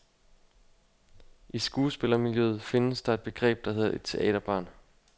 I skuespillermiljøet findes der et begreb, der hedder et teaterbarn.